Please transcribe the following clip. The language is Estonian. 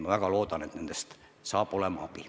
Ma väga loodan, et nendest on abi.